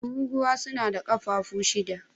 Tururuwa suna da kafafu shida.